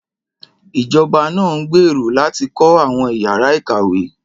Ìjọba náà ń gbèrò láti kọ́ àwọn ìyára ìkàwé